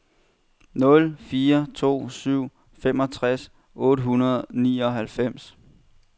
nul fire to syv femogtres otte hundrede og nioghalvfems